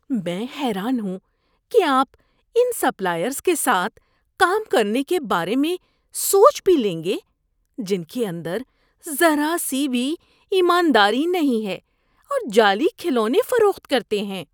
میں حیران ہوں کہ آپ ان سپلائرز کے ساتھ کام کرنے کے بارے میں سوچ بھی لیں گے جن کے اندر ذرا سی بھی ایمانداری نہیں ہے اور جعلی کھلونے فروخت کرتے ہیں۔